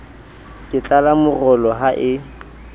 ke tlala morolo ha e